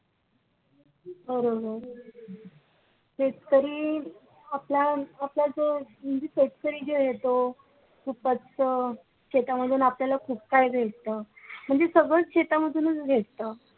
बरोबर शेतकरी आपल्या आपल्या जो म्हणजे शेतकरी जो आहे तो खूपच शेतामध्ये आपल्या खुप काही भेटत म्हणजे सगळंच शेतामधूनच भेटत